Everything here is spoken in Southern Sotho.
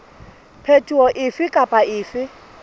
phetoho efe kapa efe e